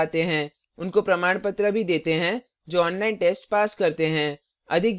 उनको प्रमाणपत्र भी देते हैं जो online test pass करते हैं